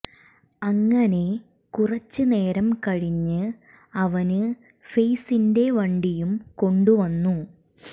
അങ്ങനെ കുറച്ച് നേരം കഴിഞ്ഞ് അവന് ഫെയ്സിന്റെ വണ്ടിയും കൊണ്ട് വന്നു